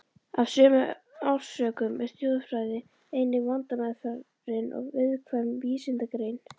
Af sömu orsökum er þjóðfræði einnig vandmeðfarin og viðkvæm vísindagrein.